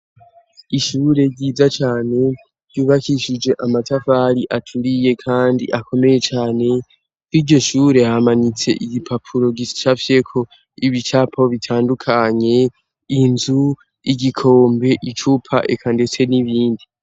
Ishure ryiza cane ryubakishije amatavari aturiye, kandi akomeye cane ni ryo shure hamanitse igipapuro gisafyeko ibi icapaho bitandukanye inzu, igikombe, icupa eka, ndetse n'ibindi.